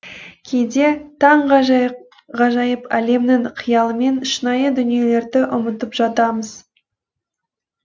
кейде таңғажайып әлемнің қиялымен шынайы дүниелерді ұмытып жатамыз